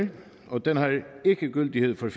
og den har ikke gyldighed for